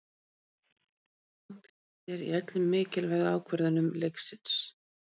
Mér fannst dómarinn hafa rangt fyrir sér í öllum mikilvægu ákvörðunum leiksins.